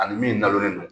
Ani min dalen don